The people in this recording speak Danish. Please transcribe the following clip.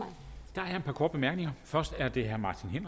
der er et par korte bemærkninger først er det herre martin